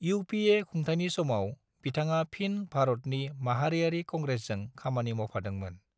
UPA खुंथायनि समाव, बिथाङा फिन भारतनि माहारियारि कंग्रेसजों खामानि मावफादोंमोन।